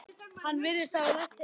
Hann virðist hafa lært heima.